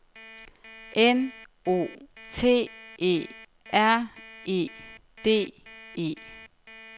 N O T E R E D E